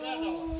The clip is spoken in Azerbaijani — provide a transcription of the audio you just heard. Nə davam?